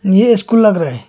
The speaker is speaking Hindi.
ये स्कूल लग रहा है।